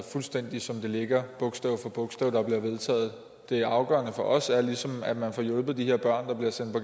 fuldstændig som det ligger bogstav for bogstav der bliver vedtaget det afgørende for os er ligesom at man får hjulpet de her børn der bliver sendt på